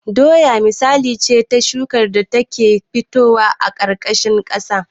Doya misali ce ta shukar da ta ke fitowa a ƙarƙashin ƙasa